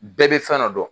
Bɛɛ bɛ fɛn dɔ dɔn